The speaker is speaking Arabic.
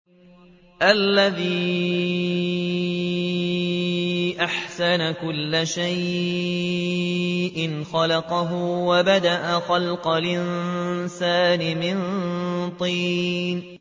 الَّذِي أَحْسَنَ كُلَّ شَيْءٍ خَلَقَهُ ۖ وَبَدَأَ خَلْقَ الْإِنسَانِ مِن طِينٍ